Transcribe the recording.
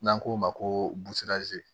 N'an k'o ma ko